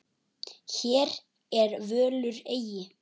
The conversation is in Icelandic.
Hér ég völur eygi.